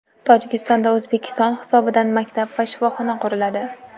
Tojikistonda O‘zbekiston hisobidan maktab va shifoxona quriladi.